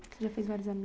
Já fez vários